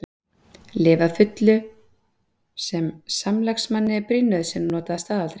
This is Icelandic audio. Lyf að fullu sem samlagsmanni er brýn nauðsyn að nota að staðaldri.